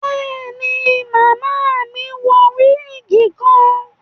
Béèni, Màmá mí wọ wigi kan